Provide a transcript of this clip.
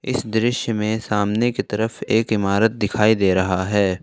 इस दृश्य में सामने की तरफ एक इमारत दिखाई दे रहा है।